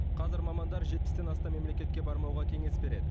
қазір мамандар жетпістен астам мемлекетке бармауға кеңес береді